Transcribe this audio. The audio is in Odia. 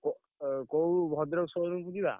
କୋ~ କୋଉ ଭଦ୍ରକ showroom କୁ ଯିବା?